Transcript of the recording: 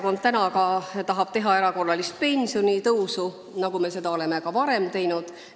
Ja sellepärast tahab Keskerakond teha erakorralist pensionitõusu, nagu me seda oleme ka varem teinud.